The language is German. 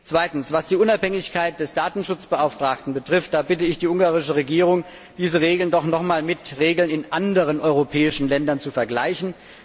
Zweitens Was die Unabhängigkeit des Datenschutzbeauftragten betrifft, bitte ich die ungarische Regierung, diese Regeln doch noch mal mit den Regeln in anderen europäischen Ländern zu vergleichen.